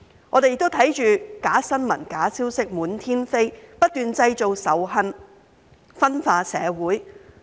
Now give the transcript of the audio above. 我們亦看到假新聞、假消息滿天飛，不斷製造仇恨，分化社會。